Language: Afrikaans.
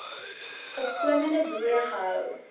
opkomende boere gehou